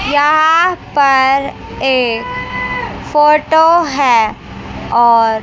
यहां पर एक फोटो है और--